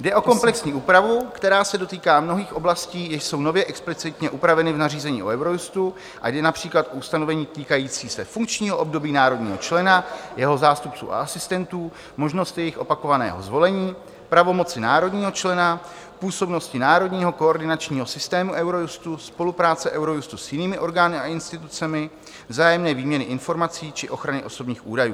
Jde o komplexní úpravu, která se dotýká mnohých oblastí, jež jsou nově explicitně upraveny v nařízení o Eurojustu, a jde například o ustanovení týkající se funkčního období národního člena, jeho zástupců a asistentů, možnosti jejich opakovaného zvolení, pravomoci národního člena, působnosti národního koordinačního systému Eurojustu, spolupráce Eurojustu s jinými orgány a institucemi, vzájemné výměny informací či ochrany osobních údajů.